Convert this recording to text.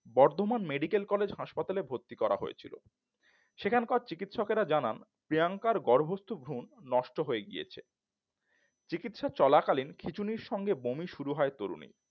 Bardhaman medical college হাসপাতালে ভর্তি করা হয়েছিল সেখানকার চিকিৎসকেরা জানান প্রিয়াঙ্কার গর্ভস্থ ভ্রুন নষ্ট হয়ে গিয়েছে চিকিৎসা চলাকালীন খিচুনির সাথে বমি শুরু হয় তরুণীর